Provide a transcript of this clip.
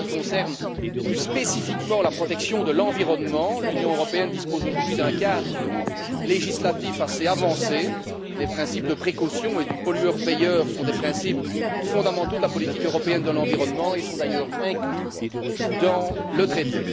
En ce qui concerne plus spécifiquement la protection de l'environnement, l'Union européenne dispose aujourd'hui d'un cadre législatif assez avancé. Les principes de précaution et du pollueur payeur sont des principes fondamentaux de la politique européenne de l'environnement et sont d'ailleurs inclus dans le traité.